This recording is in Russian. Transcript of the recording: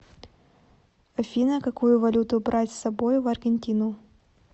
афина какую валюту брать с собой в аргентину